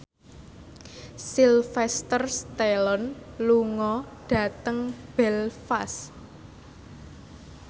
Sylvester Stallone lunga dhateng Belfast